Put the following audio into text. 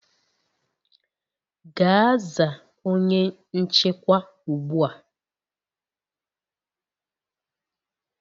Gaa zaa onye nchịkwa ugbu a!